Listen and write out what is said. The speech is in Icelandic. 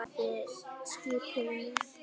Afi á skipinu er dáinn.